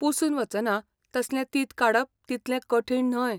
पुसून वचना तसलें तींत काडप तितलें कठीण न्हय.